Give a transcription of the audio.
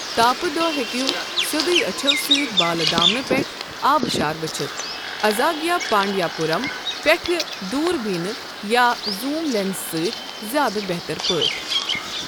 تاپہٕ دۄہ ہیكو سیودیو أچھو سۭتۍ بالہٕ دامنہٕ پٮ۪ٹھٕ آبشار وٕچھِتھ، ازاگِیا پانڈیاپرم پیٹھٕ دوٗر بینہِ یا زوٗم لینزٕ سۭتۍ زیادٕ بہتر پٲٹھۍ۔